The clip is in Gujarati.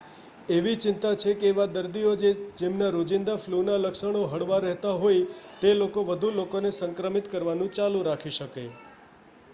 એવી ચિંતા છે કે એવા દર્દીઓ જે જેમના રોજિંદા ફલૂના લક્ષણો હળવા રહેતા હોય તે લોકો વધુ લોકોને સંક્રમિત કરવાનું ચાલુ રાખી શકે